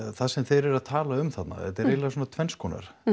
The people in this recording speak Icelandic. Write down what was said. það sem þeir eru að tala um þarna þetta er eiginlega svona tvennskonar